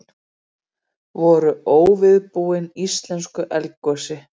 Voru óviðbúin íslensku eldgosi